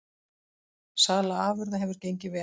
Sala afurða hefur gengið vel